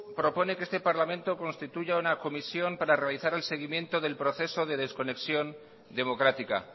propone que este parlamento constituya una comisión para realizar el seguimiento del proceso de desconexión democrática